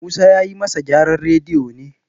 Musa ya yi masa gyaran radiyo ne